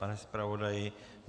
Pane zpravodaji?